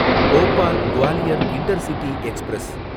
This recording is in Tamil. Bhopal Gwalior intercity express